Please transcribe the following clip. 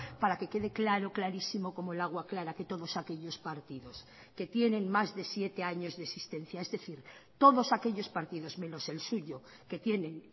para que quede claro clarísimo como el agua clara que todos aquellos partidos que tienen más de siete años de existencia es decir todos aquellos partidos menos el suyo que tienen